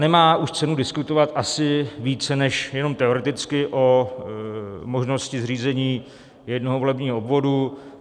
Nemá už cenu diskutovat asi více než jenom teoreticky o možnosti zřízení jednoho volebního obvodu.